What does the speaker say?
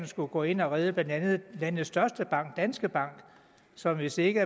skulle gå ind og redde landets største bank danske bank som hvis ikke